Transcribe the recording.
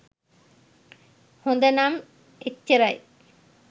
හොදනම් එච්චරයි.